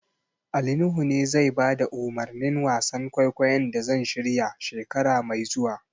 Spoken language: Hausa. Ali Nuhu ne zai bada umarnin wasan kwaikwayon da zan shirya, shekara mai zuwa.